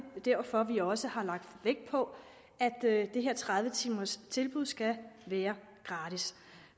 derfor vi også har lagt vægt på at det her tredive timers tilbud skal være gratis